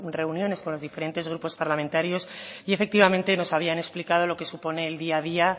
reuniones con los diferentes grupos parlamentarios y efectivamente nos habían explicado lo que supone el día a día